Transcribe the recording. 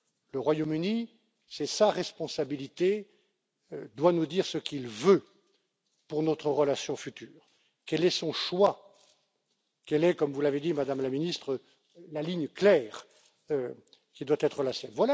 Le Royaume Uni, c'est sa responsabilité, doit nous dire ce qu'il veut pour notre relation future, quel est son choix, quel est, comme vous l'avez dit, Madame la Ministre, la ligne claire qui doit être la sienne.